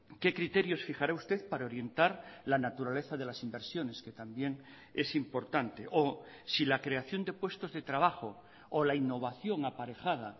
qué criterios fijara usted para orientar la naturaleza de las inversiones que también es importante o si la creación de puestos de trabajo o la innovación aparejada